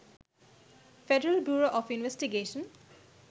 federal bureau of investigation